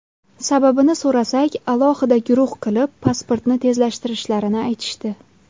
Sababini so‘rasak alohida guruh qilib, pasportni tezlashtirishlarini aytishdi.